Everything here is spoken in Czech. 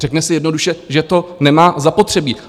Řekne si jednoduše, že to nemá zapotřebí.